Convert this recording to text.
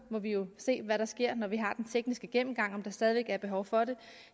må vi jo se hvad der sker når vi har den tekniske gennemgang om der stadig væk er behov for det